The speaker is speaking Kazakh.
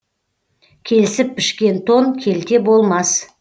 келісіп пішкен тон келте болмас